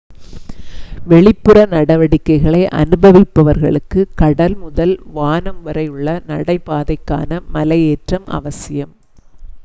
வெளிப்புற நடவடிக்கைகளை அனுபவிப்பவர்களுக்கு கடல் முதல் வானம் வரை உள்ள நடைபாதைக்கான மலையேற்றம் அவசியம்